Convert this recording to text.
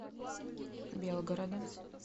белгородом